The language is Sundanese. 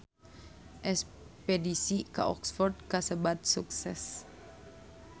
Espedisi ka Oxford kasebat sukses